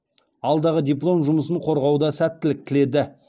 алдағы диплом жұмысын қорғауда сәттілік тіледі